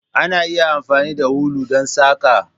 Ana iya amfani da ulu don saƙa.